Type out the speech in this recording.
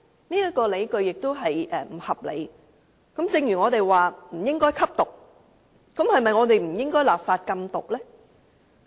然而，這個理據也是不合理的，正如我們說不應該吸毒一樣，是否也不應該立法禁毒呢？